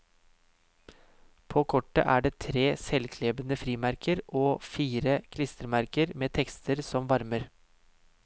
På kortet er det tre selvklebende frimerker og fire klistremerker med tekster som varmer.